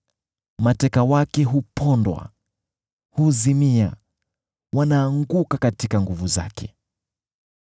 Mateka wake hupondwa, huzimia; wanaanguka katika nguvu zake.